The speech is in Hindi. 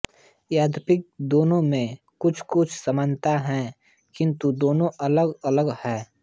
यद्यपि दोनों में कुछकुछ समानता है किन्तु दोनों अलगअलग हैं